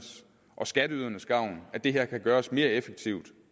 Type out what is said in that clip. og skatteyderne at det her kan gøres mere effektivt